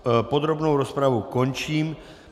Podrobnou rozpravu končím.